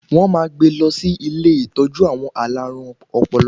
Wọ̀n máa gbe lọ sí ilé ìtọ́jú àwọn alárùn ọpọlọ